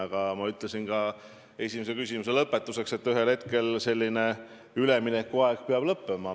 Aga ma ütlesin lõpetuseks ka seda, et ühel hetkel selline üleminekuaeg peab lõppema.